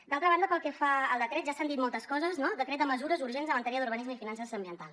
d’altra banda pel que fa al decret ja s’han dit moltes coses no decret de mesures urgents en matèria d’urbanisme fiances i ambiental